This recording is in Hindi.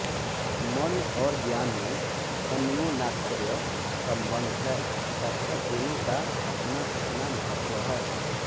मन और ज्ञान में अन्योनाश्रय सम्बन्ध है तथा दोनों का अपनाअपना महत्व है